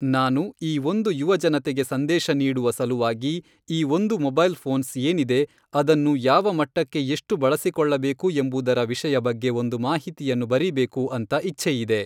ನಾನು ಈ ಒಂದು ಯುವ ಜನತೆಗೆ ಸಂದೇಶ ನೀಡುವ ಸಲುವಾಗಿ ಈ ಒಂದು ಮೊಬೈಲ್ ಫೋನ್ಸ್ ಏನಿದೆ ಅದನ್ನು ಯಾವ ಮಟ್ಟಕ್ಕೆ ಎಷ್ಟು ಬಳಸಿಕೊಳ್ಳಬೇಕು ಎಂಬುದರ ವಿಷಯ ಬಗ್ಗೆ ಒಂದು ಮಾಹಿತಿಯನ್ನು ಬರೀಬೇಕು ಅಂತ ಇಚ್ಛೆ ಇದೆ.